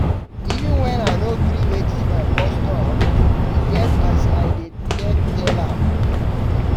Even wen I no gree wetin my boss talk, e get as I dey take tell am.